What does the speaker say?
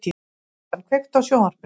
Susan, kveiktu á sjónvarpinu.